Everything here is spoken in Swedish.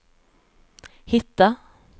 hitta